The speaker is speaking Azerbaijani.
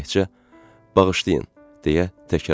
Təkcə “Bağışlayın!” deyə təkrarladı.